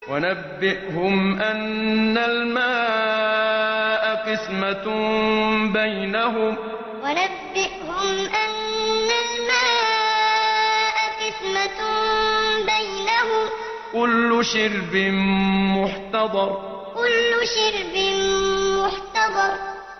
وَنَبِّئْهُمْ أَنَّ الْمَاءَ قِسْمَةٌ بَيْنَهُمْ ۖ كُلُّ شِرْبٍ مُّحْتَضَرٌ وَنَبِّئْهُمْ أَنَّ الْمَاءَ قِسْمَةٌ بَيْنَهُمْ ۖ كُلُّ شِرْبٍ مُّحْتَضَرٌ